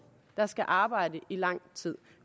der skal arbejde i lang tid